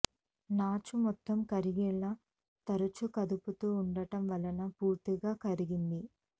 నాచు మొత్తం కరిగేలా తరచూ కదుపుతూ ఉండటం వల్ల పూర్తిగా కరిగింది